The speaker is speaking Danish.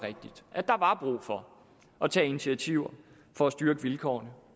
brug for at tage initiativer for at styrke vilkårene